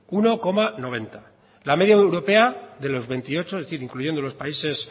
uno coma noventa la media europea de los veintiocho es decir incluyendo los países